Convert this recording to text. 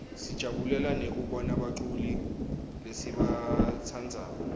sijabulela nekubona baculi lesibatsandzako